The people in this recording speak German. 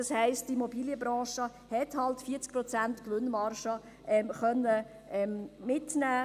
Die Immobilienbranche konnte also 40 Prozent Gewinnmarge mitnehmen.